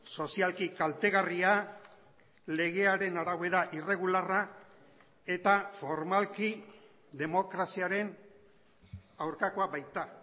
sozialki kaltegarria legearen arabera irregularra eta formalki demokraziaren aurkakoa baita